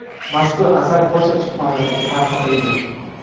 Mazkur asar Polsha kutubxonalariga tarqatildi.